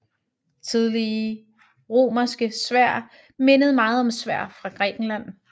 Tidlige romerske sværd mindede meget om sværd fra Grækenland